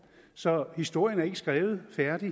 så historien er ikke skrevet færdig